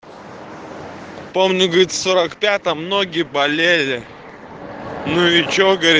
помню говорит в сорок пятом ноги болели ну и что говорит